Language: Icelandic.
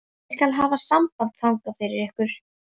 Ég skal hafa samband þangað fyrir ykkur.